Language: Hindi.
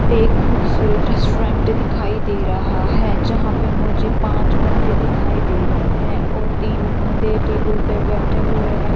एक खूबसूरत रेस्टोरेंट दिखाई दे रहा है जहाँ पे मुझे पाँच बन्दे दिखाई दे रहे है और तीन बन्दे टेबुल पर बैठे हुए है।